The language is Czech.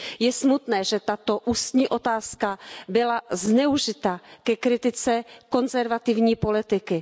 Je smutné, že tato ústní otázka byla zneužita ke kritice konzervativní politiky.